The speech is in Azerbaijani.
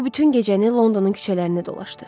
O bütün gecəni Londonun küçələrində dolaşdı.